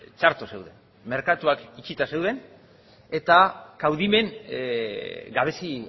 txarto zeuden merkatuak itxita zeuden eta kaudimen gabezi